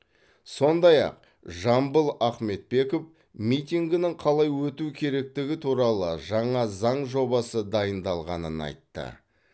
сондай ақ жамбыл ахметбеков митингінің қалай өтуі керектігі туралы жаңа заң жобасы дайындалғанын айтты